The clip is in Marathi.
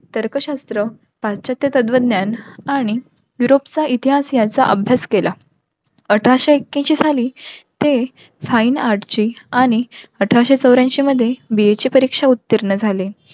तर्कशास्त्र तत्व ज्ञान आणि इतिहास याचा अभ्यास केला. अठराशे एक्याऐन्शी खाली ते आणि अठराशे चौर्याऐन्शी मध्ये BA ची परीक्षा उत्तीर्ण झाले.